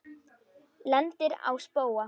Lendir á spóa.